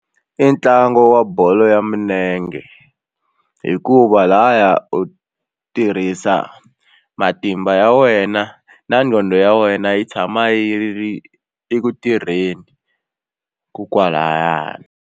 I ntlangu wa bolo ya milenge hikuva lahaya u tirhisa matimba ya wena na nqondo ya wena yi tshama yi ri eku tirheni ko kwalano.